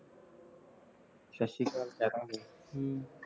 ਸਤਿ ਸ੍ਰੀ ਅਕਾਲ ਕਹਿ ਦਾ ਗੇ